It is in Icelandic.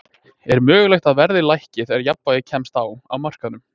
Er mögulegt að verðið lækki þegar jafnvægi kemst á á markaðnum?